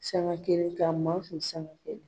Sanga kelen ka ma sanga kelen.